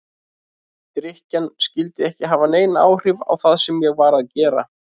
Drykkjan skyldi ekki hafa nein áhrif á það sem ég var að gera.